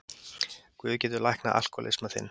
Guð getur læknað alkohólisma þinn.